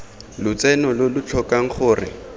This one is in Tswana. lotseno lo lo tlhokang gore